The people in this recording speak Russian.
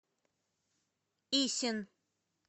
исин